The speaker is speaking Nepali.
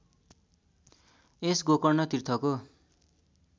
यस गोकर्ण तीर्थको